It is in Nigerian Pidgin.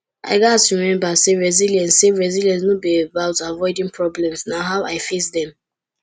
i gats remember say resilience say resilience no be about avoiding problems na how i face dem